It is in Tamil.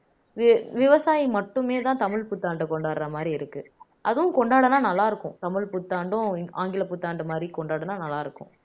வி வசாயி மட்டுமேதான் தமிழ் புத்தாண்டை கொண்டாடுற மாதிரி இருக்கு அதுவும் கொண்டாடுனா நல்லா இருக்கும் தமிழ் புத்தாண்டும் ஆங்கில புத்தாண்டு மாதிரி கொண்டாடினால் நல்லா இருக்கும்